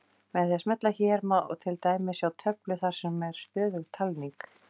Með því að smella hér má til dæmis sjá töflu þar sem er stöðug talning.